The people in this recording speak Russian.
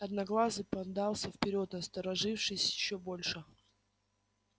одноглазый подался вперёд насторожившись ещё больше